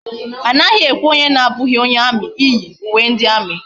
Anaghi ekwe onye na abughi onye army iyi uwe ndi army